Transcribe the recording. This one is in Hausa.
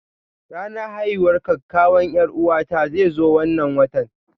Ranar haihuwar kakkawan 'Yar'uwata zai zo wannan watan.